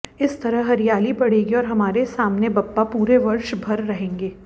इस तरह हरियाली बढ़ेगी और हमारे सामने बाप्पा पूरे वर्ष भर रहेंगे